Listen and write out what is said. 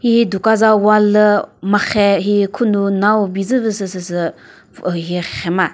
hihi duka za wall lü marhe hi khonu nau bizü püh sü süsü hi rhema.